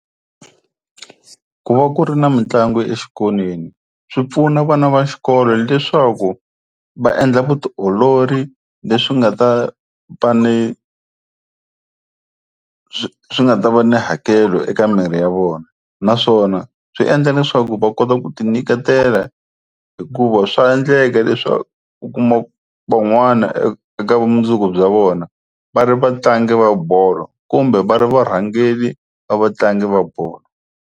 Ku va ku ri na mitlangu exikolweni swi pfuna vana va xikolo leswaku va endla vutiolori leswi nga ta swi nga ta va ni hakelo eka miri ya vona naswona swi endla leswaku va kota ku ti nyiketela hikuva swa endleka leswaku u kuma van'wana eka vumundzuku bya vona va ri vatlangi va bolo kumbe va ri varhangeri va vatlangi va bolo.